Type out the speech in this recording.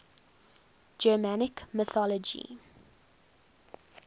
germanic mythology